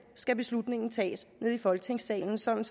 skal beslutningen tages nede i folketingssalen sådan